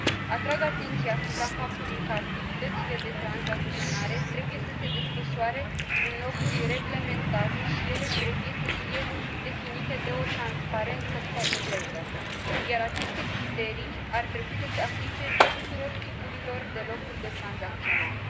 Atrag atenția asupra faptului că activitățile de tranzacționare trebuie să se desfășoare în locuri reglementate și ele trebuie să fie definite de o transparență completă, iar aceste criterii ar trebui să se aplice tuturor tipurilor de locuri de tranzacționare.